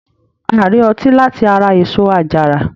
A rí ọtí láti ara èso àjàrà